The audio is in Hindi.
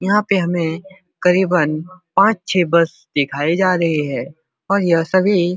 यहाँ पे हमें करीबन पाँच छे बस दिखाई जा रही है और यह सभी --